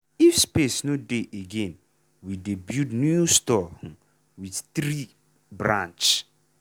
if space no dey again we dey build new store um with tree um branch.